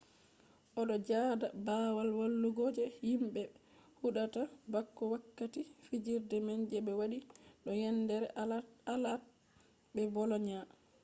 o do joda babal walugo je himbe be hudata bako wakkati fijirde man je be wati do yendere alaat be bolonia